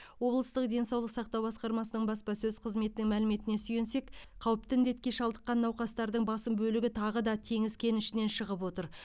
облыстық денсаулық сақтау басқармасының баспасөз қызметінің мәліметіне сүйенсек қауіпті індетке шалдыққан науқастардың басым бөлігі тағы да теңіз кенішінен шығып отыр